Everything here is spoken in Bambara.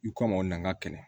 I kom'aw nan ka kɛlɛ